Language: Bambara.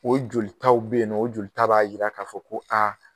O joli taw bɛ yen nɔ, o joli taw b'a jira k'a fɔ ko aa